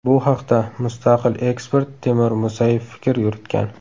Bu haqda mustaqil ekspert Timur Musayev fikr yuritgan.